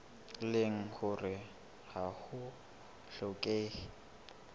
leng hore ha ho hlokehe